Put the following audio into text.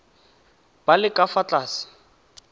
ba le ka fa tlase